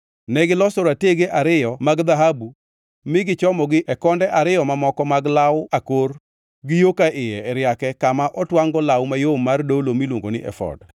Negiloso ratege ariyo mag dhahabu mi gichomogi e konde ariyo mamoko mag law akor gi yo ka iye e riake kama otwangʼ-go law mayom mar dolo miluongo ni efod.